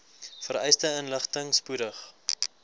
vereiste inligting spoedig